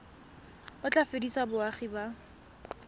o tla fedisa boagi ba